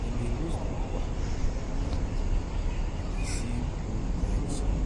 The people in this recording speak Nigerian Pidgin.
dem dey roast ukwa and and dey sing old-time songs